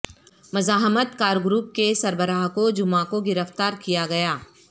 مزاحمت کار گروپ کے سربراہ کو جمعہ کو گرفتار کیا گیا